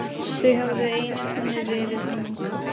Þau höfðu einu sinni verið ung.